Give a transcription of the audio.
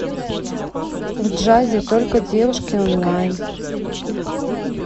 в джазе только девушки онлайн